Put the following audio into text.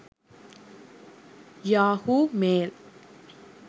yahoo mail